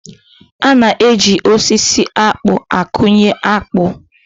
A na-eji osisi akpụ akụnye akpụ